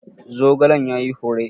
Zogalen ya yi hure?